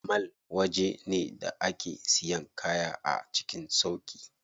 Mall waje ne da ake siyan kaya a cikin sauƙi.